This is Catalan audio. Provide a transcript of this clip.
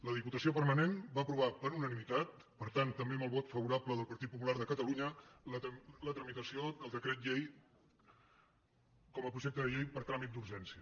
la diputació permanent va aprovar per unanimitat per tant també amb el vot favorable del partit popular de catalunya la tramitació del decret llei com a projecte de llei per tràmit d’urgència